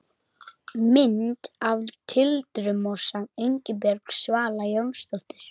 Mynd af tildurmosa: Ingibjörg Svala Jónsdóttir.